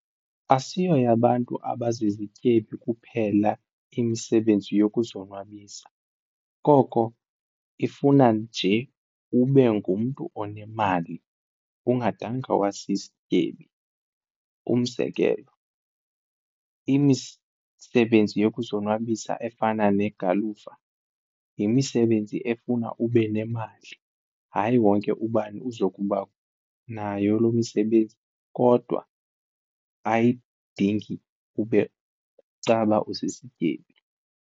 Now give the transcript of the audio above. Asiyoyabantu abazizityebi kuphela imisebenzi yokuzonwabisa koko ifuna nje ube ngumntu onemali ungadanga wasisityebi, umzekelo imisebenzi yokuzonwabisa efana negalufa yimisebenzi efuna ube nemali hayi wonke ubani uzokuba nayo lo msebenzi kodwa ayidingi ube caba usisityebi.